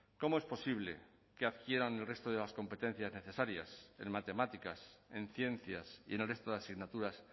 cómo es posible que adquieran el resto de las competencias necesarias en matemáticas en ciencias y en el resto de asignaturas